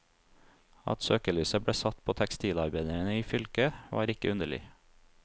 At søkelyset ble satt på tekstilarbeiderne i fylket, var ikke underlig.